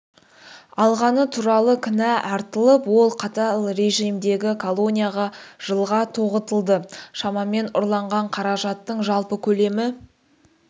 алғаны туралы кінә артылып ол қатал режимдегі колонияға жылға тоғытылды шамамен ұрланған қаражаттың жалпы көлемі